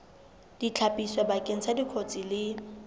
ditlhapiso bakeng sa dikotsi le